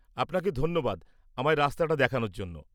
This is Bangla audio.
আপনাকে ধন্যবাদ আমায় রাস্তাটা দেখানোর জন্য।